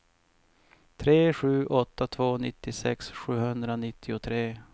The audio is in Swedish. tre sju åtta två nittiosex sjuhundranittiotre